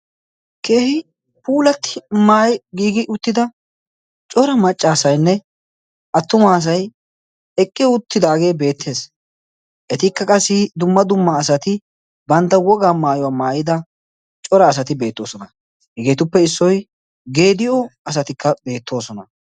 keehi puulatti maayi giigi uttida cora macca asaynne attuma asay eqqi uttidaagee beettees etikka qassi dumma dumma asati bantta wogaa maayuwaa maayida cora asati beettoosona hegeetuppe issoy geediyo asatikka beettoosona